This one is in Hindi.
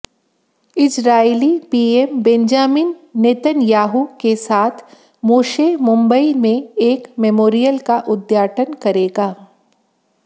इजरायली पीएम बेंजामिन नेतन्याहू के साथ मोशे मुंबई में एक मेमोरियल का उद्घाटन करेगा